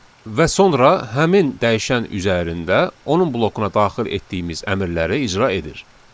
Və sonra həmin dəyişən üzərində onun blokuna daxil etdiyimiz əmrləri icra edir.